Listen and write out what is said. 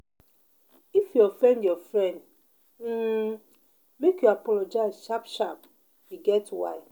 If you offend your friend, um make you apologize sharp-sharp, e get why.